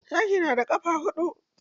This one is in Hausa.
Zaki na da ƙafa huɗu.